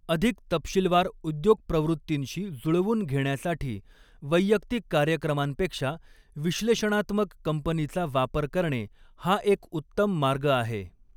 अधिक तपशीलवार उद्योग प्रवृत्तींशी जुळवून घेण्यासाठी वैयक्तिक कार्यक्रमांपेक्षा विश्लेषणात्मक कंपनीचा वापर करणे हा एक उत्तम मार्ग आहे.